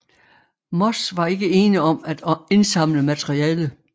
Moth var ikke ene om at indsamle materiale